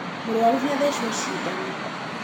Mũrũaru nĩ athecwo cindano.